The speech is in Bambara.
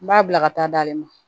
N b'a bila ka taa d'ale ma